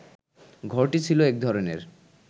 ঘরটি ছিল এক ধরনের